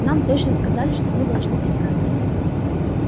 нам точно сказали что мы должны искать